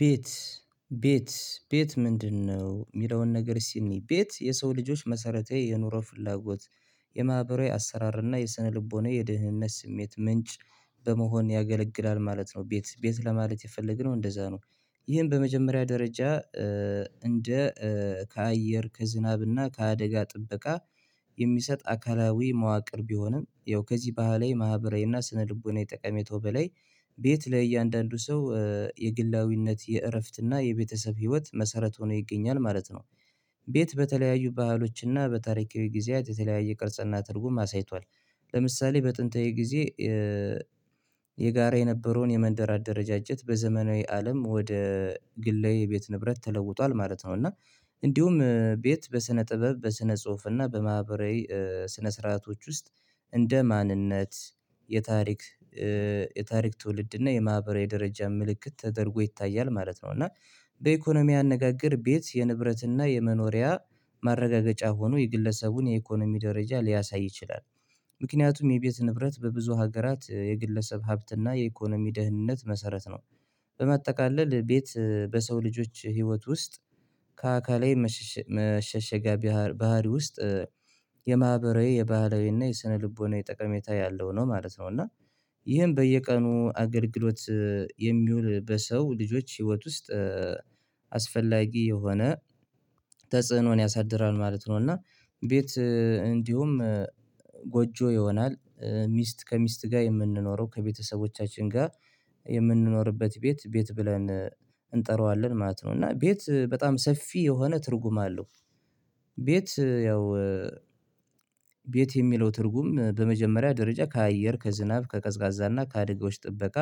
ቤት ቤት ቤት ምንድነው? የሚለውን ነገር እስቲ እንይ ቤት የሰው ልጆች መሰረቴ የኑሮ ፍላጎት የማህበራዊ አሰራር እና የስነልቦና የደህንነት ስሜት ምንጭ በመሆን ያገለግላል ማለት ነው። ቤት ቤት ለማለት የፈለግነው እንደዛ ነው። ይሄን በመጀመሪያ ደረጃ እንደ ከአየር ከዝናብና ከአደጋ ጥበቃ የሚሰጥ አካላዊ መዋቅር ቢሆንም ያው ከዚህ ባህላዊ ማህበራዊ እና ስነልቦናዊ ጠቀሜታው በላይ ቤት ለእያንዳንዱ ሰው የግላዊነት የእረፍትና የቤተሰብ ህይወት መሰረት ሆኖ ይገኛል ማለት ነው። ቤት በተለያዩ ባህሎችና በታሪካዊ ጊዜያት የተለያየ ቅርጽና ትርጉም አሳይቷል። ለምሳሌ በጥንታዊ ጊዜ የጋራ የነበረውን የመንደር አደረጃጀት በዘመናዊ አለም ወደ ግላዊ ቤት ንብረት ተለውጧል ማለት ነው። እና እንዲሁም ቤት በስነ ጥበብ በስነ ጽሁፍ እና በማህበራዊ ስነ ስርዓቶች ውስጥ እንደ ማንነት የታሪክ የታሪክ ትውልድ እና የማህበራዊ ደረጃ ምልክት ተደርጎ ይታያል ማለት ነው። እና በኢኮኖሚ አነጋገር ቤት የንብረት እና የመኖሪያ ማረጋገጫ ሆኖ የግለሰቡን የኢኮኖሚ ደረጃ ሊያሳይ ይችላል። ምክንያቱም የቤት ንብረት በብዙ ሀገራት የግለሰብ ሀብትና የኢኮኖሚ ደህንነት መሰረት ነው። በማጠቃለል ቤት በሰው ልጆች ህይወት ውስጥ ከአካላዊ መሸሸጊያ ባህሪ ውስጥ የማህበራዊ የባህላዊ እና የስነልቦናዊ ጠቀሜታ ያለው ነው ማለት ነው። እና ይህን በየቀኑ አገልግሎት የሚውል በሰው ልጆች ህይወት ውስጥ አስፈላጊ የሆነ ተጽዕኖን ያሳድራል ማለት ነው። እና ቤት እንዲሁም ጎጆ ይሆናል ሚስት ከሚስት ጋር የምንኖረው ከቤተሰቦቻችን ጋር የምንኖርበት ቤት ቤት ብለን እንጠራዋለን ማለት ነው። እና ቤት በጣም ሰፊ የሆነ ትርጉም አለው። ቤት ያው ቤት የሚለው ትርጉም በመጀመሪያ ደረጃ ከአየር ከዝናብ ከቀዝቃዛና ከአደጋዎች ጥበቃ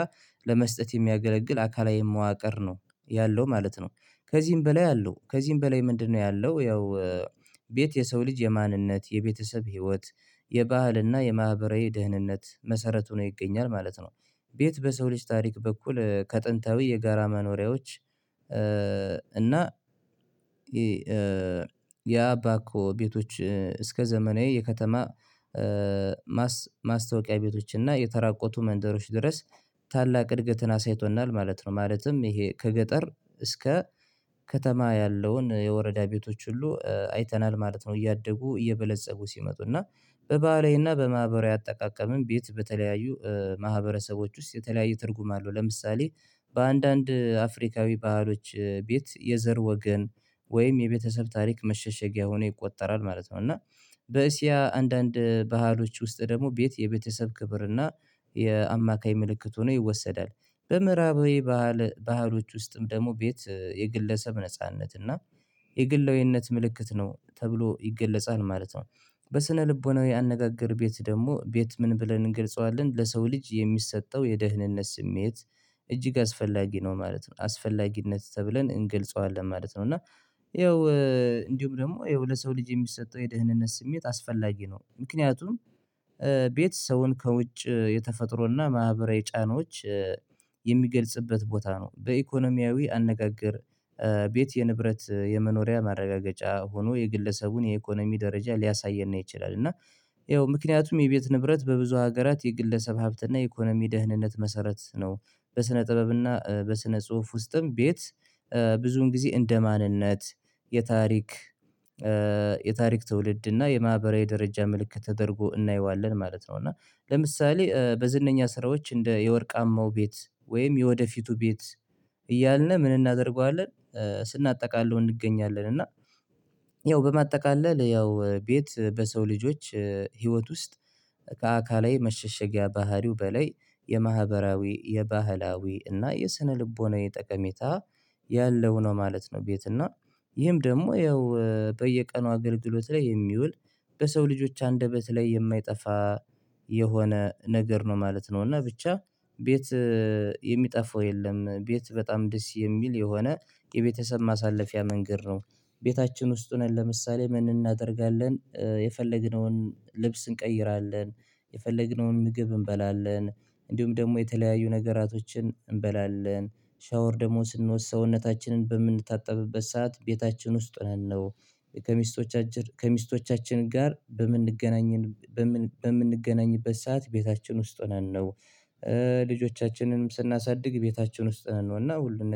ለመስጠት የሚያገለግል አካላዊ መዋቅር ነው ያለው ማለት ነው። ከዚህም በላይ አለው ከዚህም በላይ ምንድነው? ያለው ያው ቤት የሰው ልጅ የማንነት የቤተሰብ ህይወት የባህልና የማህበራዊ ደህንነት መሰረት ሆኖ ይገኛል ማለት ነው። ቤት በሰው ልጅ ታሪክ በኩል ከጥንታዊ የጋራ መኖሪያዎች እና ያ የአባኮ ቤቶች እስከ ዘመናዊ የከተማ ማስታወቂያ ቤቶችን እና የተራቆቱ መንደሮች ድረስ ታላቅ እድገትን አሳይቶናል ማለት ነው። ማለትም ይሄ ከገጠር እስከ ከተማ ያለውን የወረዳ ቤቶች ሁሉ አይተናል ማለት ነው። እያደጉ እየበለፀጉ ሲመጡ እና በባህላዊና በማህበራዊ አጠቃቀምም ቤት በተለያዩ ማህበረሰቦች ውስጥ የተለያዩ ትርጉም አለው ለምሳሌ በአንዳንድ አፍሪካዊ ባህሎች ቤት የዘር ወገን ወይም የቤተሰብ ታሪክ መሸሸጊያ ሆኖ ይቆጠራል ማለት ነው። እና በኤስያ አንዳንድ ባህሎች ውስጥ ደግሞ ቤት የቤተሰብ ክብርና የአማካይ ምልክት ሆኖ ይወሰዳል በምዕራባዊ ባህል ባህሎች ውስጥም ደግሞ ቤት የግለሰብ ነጻነት እና የግላዊነት ምልክት ነው ተብሎ ይገለጻል ማለት ነው። ልቦናዊ አነጋገር ቤት ደግሞ ቤት ምን ብለን እንገልጸዋለን ለሰው ልጅ የሚሰጠው የደህንነት ስሜት እጅግ አስፈላጊ ነው ማለት ነው አስፈላጊነት ተብለን እንገልጸዋለን ማለት ነው። እና ይኸው እንዲሁም ደግሞ ይኸው ለሰው ልጅ የሚሰጠው የደህንነት ስሜት አስፈላጊ ነው ምክንያቱም ቤት ሰውን ከውጭ የተፈጥሮና ማህበራዊ ጫናዎች የሚገልጽበት ቦታ ነው። በኢኮኖሚያዊ አነጋገር ቤት የንብረት የመኖሪያ ማረጋገጫ ሆኖ የግለሰቡን የኢኮኖሚ ደረጃ ሊያሳየን ይችላል። እና ይኸው ምክንያቱም የቤት ንብረት በብዙ ሀገራት የግለሰብ ሀብት እና የኢኮኖሚ ደህንነት መሰረት ነው። በስነ ጥበብና በስነ ጽሁፍ ውስጥም ቤት ብዙዉን ጊዜ እንደ ማንነት የታሪክ የታሪክ ትውልድ እና የማህበራዊ ደረጃ ምልክት ተደርጎ እናየዋለን ማለት ነው። እና ለምሳሌ በዝነኛ ስራዎች እንደ የወርቃማው ቤት ወይም የወደፊቱ ቤት እያልን ምን እናደርገዋለን? ስናጠቃልለው እንገኛለን እና ያው በማጠቃለል ያው ቤት በሰው ልጆች ህይወት ውስጥ ከአካላዊ መሸሸጊያ ባህሪው በላይ የማህበራዊ የባህላዊ እና የስነልቦናዊ ጠቀሜታ ያለው ነው ማለት ነው። ቤት እና ይህም ደግሞ ያው በየቀኑ አገልግሎት ላይ የሚውል በሰው ልጆች አንደበት ላይ የማይጠፋ የሆነ ነገር ነው ማለት ነው። እና ብቻ ቤት የሚጠፋው የለም። ቤት በጣም ደስ የሚል የሆነ የቤተሰብ ማሳለፊያ መንገድ ነው። ቤታችን ውስጥ ሆነን ለምሳሌ ምን እናደርጋለን የፈለግነውን ልብስ እንቀይራለን የፈለግነውን ምግብ እንበላለን እንዲሁም ደግሞ የተለያዩ ነገራቶችን እንበላለን ሻወር ደግሞ ስንወስድ ሰውነታችንን በምንታጠብበት ሰዓት ቤታችን ውስጥ ሆነን ነው። ከሚስቶቻችን ከሚስቶቻችን ጋር በምንገናኝበት በምንገናኝበት ሰዓት ቤታችን ውስጥ ሆነን ነው። ልጆቻችንም ስናሳድግ ቤታችን ውስጥ ሆነን ነው እና ሁሉን